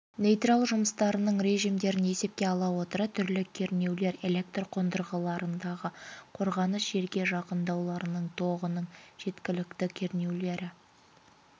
нейтраль жұмыстарының режимдерін есепке ала отыра түрлі кернеулер электр қондырғыларында қорғаныс жерге жақындауларының тогының жеткілікті кернеулері